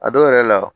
A dɔw yɛrɛ la